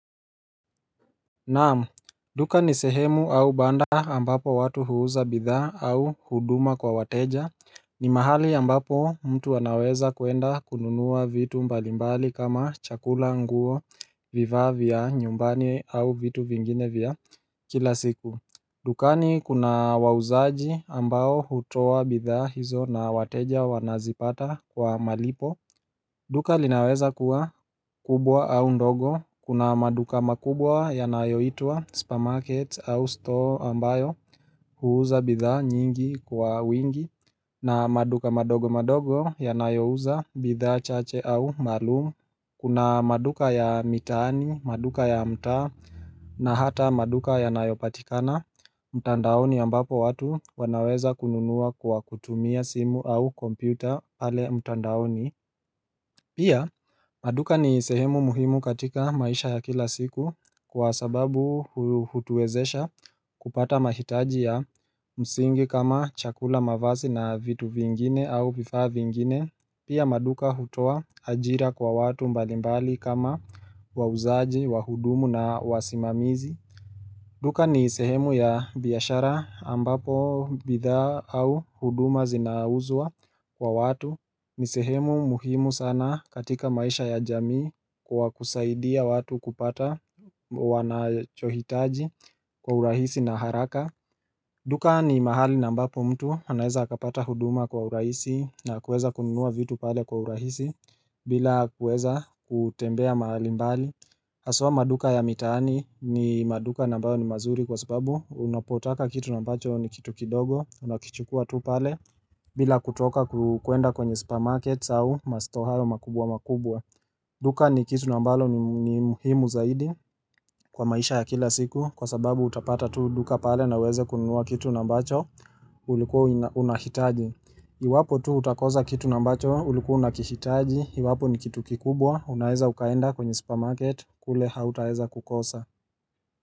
Naam, duka ni sehemu au banda ambapo watu huuza bidhaa au huduma kwa wateja ni mahali ambapo mtu anaweza kuenda kununua vitu mbali mbali kama chakula, nguo, vifaa vya nyumbani au vitu vingine vya kila siku dukani kuna wauzaji ambao hutoa bidhaa hizo na wateja wanazipata kwa malipo duka linaweza kuwa kubwa au ndogo, kuna maduka makubwa yanayoitwa supermarket au store ambayo huuza bidhaa nyingi kwa wingi na maduka madogo madogo yanayo uza bidha chache au malumu Kuna maduka ya mitaani, maduka ya mta na hata maduka yanayo patikana mtandaoni ambapo watu wanaweza kununua kwa kutumia simu au kompyuta pale mtandaoni Pia maduka ni sehemu muhimu katika maisha ya kila siku kwa sababu hutuezesha kupata mahitaji ya msingi kama chakula mavazi na vitu vingine au vifaa vingine Pia maduka hutoa ajira kwa watu mbali mbali kama wauzaji, wahudumu na wasimamizi duka ni sehemu ya biashara ambapo bidhaa au huduma zinauzua kwa watu ni sehemu muhimu sana katika maisha ya jamii kwa kusaidia watu kupata wanachohitaji kwa urahisi na haraka duka ni mahali ambapo mtu anaeza akapata huduma kwa urahisi na kuweza kununua vitu pale kwa urahisi bila kuweza kutembea mahali mbali Haswa maduka ya mitaani ni maduka nambayo ni mazuri kwa sababu unapotaka kitu ambacho ni kitu kidogo, unakichukua tu pale bila kutoka kuenda kwenye supermarket au mastore hayo makubwa makubwa. Duka ni kitu ambalo ni muhimu zaidi kwa maisha ya kila siku kwa sababu utapata tu duka pale na weze kununua kitu ambacho ulikuwa unahitaji. Iwapo tu utakosa kitu ambacho ulikua unakihitaji, Iwapo ni kitu kikubwa, unaeza ukaenda kwenye supermarket, kule hautaeza kukosa.